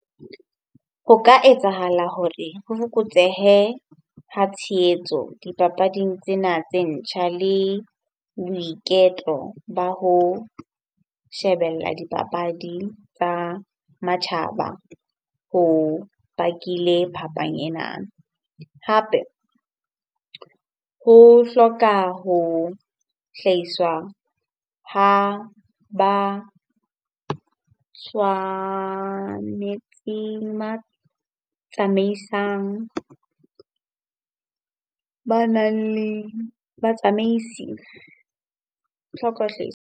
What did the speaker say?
Ho ka etsahala hore ho fokotsehe ha tshehetso dipapading tsena tse ntjha le boiketlo ba ho shebella dipapadi tsa matjhaba ho bakile phapang enana. Hape ho hloka ho hlahiswa ha ba tswa tsamaisang, banang le batsamaisi. Ho hloka .